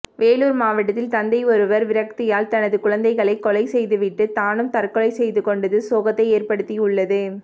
வேலூர் மாவட்டத்தில் தந்தை ஒருவர் விரக்தியால் தனது குழந்தைகளை கொலை செய்துவிட்டு தானும் தற்கொலை செய்துகொண்டது சோகத்தை ஏற்படுத்தியுள்ளது